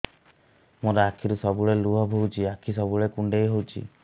ମୋର ଆଖିରୁ ସବୁବେଳେ ଲୁହ ବୋହୁଛି ଆଖି ସବୁବେଳେ କୁଣ୍ଡେଇ ହଉଚି